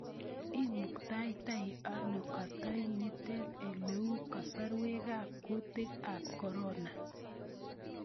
Imuktatai ano kaantooyintet ele u kasarwekab kuutikab corona ?